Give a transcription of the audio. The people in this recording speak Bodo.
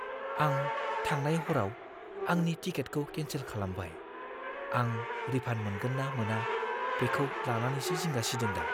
आं थांनाय हरआव आंनि टिकेटखौ केन्सेल खालामबाय। आं रिफान्ड मोनगोन ना मोना बेखौ लानानैसो जिंगा सिदों दा!